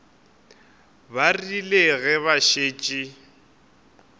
ba rile ge ba šetše